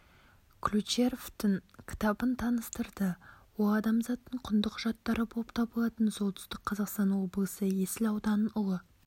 ключеровтың кітабын таныстырды ол адамзаттың құнды құжаттары болып табылатын солтүстік қазақстан облысы есіл ауданының ұлы